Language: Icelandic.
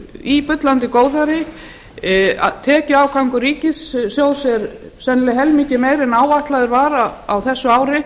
í bullandi góðæri tekjuafgangur ríkissjóðs er sennilega helmingi meiri en áætlaður var á þessu ári